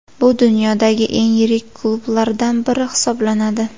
Bu dunyodagi eng yirik klublardan biri hisoblanadi.